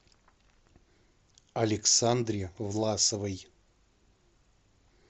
александре власовой